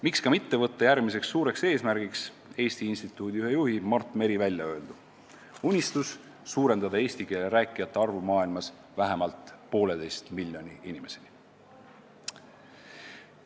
Miks mitte võtta järgmiseks suureks eesmärgiks Eesti Instituudi ühe juhi Mart Meri välja öeldud unistus suurendada eesti keele rääkijate arv maailmas vähemalt pooleteise miljoni inimeseni?